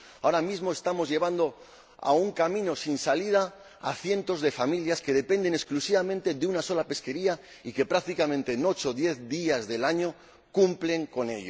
Ahora mismo estamos llevando a un camino sin salida a cientos de familias que dependen exclusivamente de una sola pesquería y que, prácticamente en ocho o diez días del año, agotan la cuota.